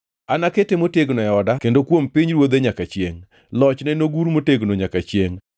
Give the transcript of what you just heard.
Anakete motegno e oda kendo kuom pinyruodhe nyaka chiengʼ, lochne nogur motegno manyaka chiengʼ.’ ”